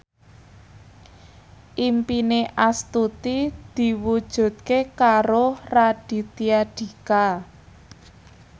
impine Astuti diwujudke karo Raditya Dika